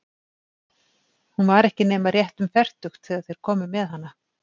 Hún var ekki nema rétt um fertugt þegar þeir komu með hana.